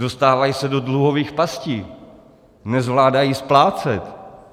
Dostávají se do dluhových pastí, nezvládají splácet.